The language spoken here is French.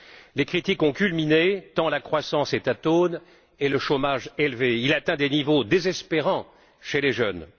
Les critiques ont culminé tant la croissance est atone et le chômage élevé, il atteint des niveaux désespérants chez les jeunes.